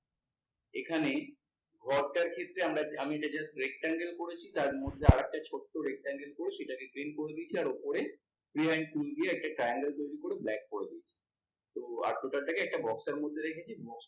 এখানে ক্ষেত্রে আমি এটা just rectangle করেছি তার মধ্যে আর একটা ছোট rectangle করে সেটাকে green করে দিয়েছি আর ওপরে deign ফুল দিয়ে একটা triangle তৈরী করে black করে দিয়েছি। তো একটা box এর মধ্যে রেখেছি box টা কে